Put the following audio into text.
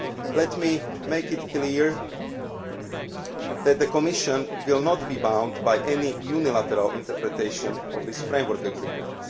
agreed text. Let me make it clear that the Commission will not be bound by any unilateral interpretation of this framework